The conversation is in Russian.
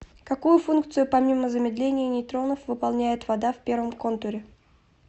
какую функцию помимо замедления нейтронов выполняет вода в первом контуре